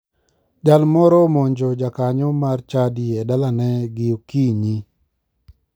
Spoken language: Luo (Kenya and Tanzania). Jal moro omonjo jakanyo mar chadi e dalane gi okinyi.